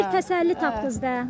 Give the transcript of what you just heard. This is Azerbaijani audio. Amma bir təsəlli tapdınız da.